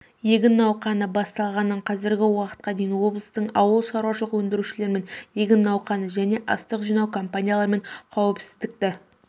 егін науқаны басталғанынанқазіргі уақытқа дейін облыстыңауыл шарушылық өңдірушілерімен егін науқаны және астық жинау кампанияларымен қауіпсіздікті